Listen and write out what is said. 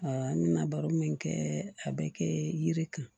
n bɛna baro min kɛ a bɛ kɛ yiri kun